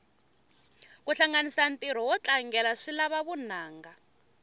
kuhlanganisa ntiro notlangela swilava vunanga